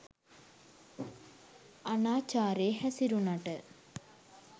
අනාචාරයේ හැසිරුනට